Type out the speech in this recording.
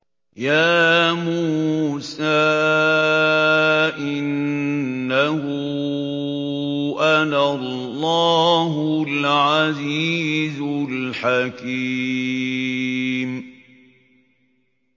يَا مُوسَىٰ إِنَّهُ أَنَا اللَّهُ الْعَزِيزُ الْحَكِيمُ